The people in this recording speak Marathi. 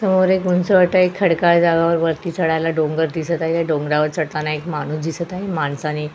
समोर एक उंचवटा आहे एक खडकाळ जागा वर वरती चढायला डोंगर दिसत आहे डोंगरावर चढताना एक माणुस दिसत आहे माणसाने --